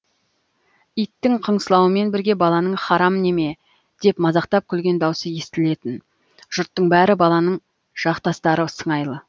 иттің қыңсылауымен бірге баланың харам неме деп мазақтап күлген даусы естілетін жұрттың бәрі баланың жақтастары сыңайлы